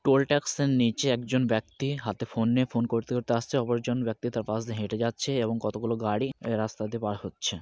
Toll tax একজন ব্যাক্তি হাতে ফোন নিয়ে ফোন করতে করতে আসছেন অপরজন ব্যাক্তি তার পাশ দিয়ে হেঁটে যাচ্ছে এবং কতগুলো গাড়ি রাস্তা দিয়ে পার হচ্ছে।